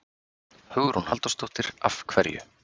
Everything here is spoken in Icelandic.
Hugrún Halldórsdóttir: Af hverju?